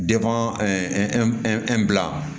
bila